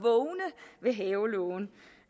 ved havelågen